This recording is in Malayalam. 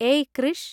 ഏയ് കൃഷ്!